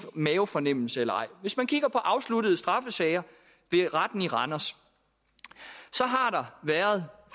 mavefornemmelse eller ej at hvis man kigger på afsluttede straffesager ved retten i randers så har der været